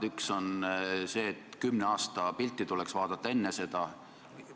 Üks on see, et tuleks vaadata kümne aasta pilti.